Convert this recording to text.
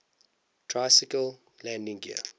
tricycle landing gear